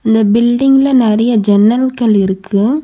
இந்த பில்டிங்ல நெறைய ஜன்னல்கள் இருக்கு.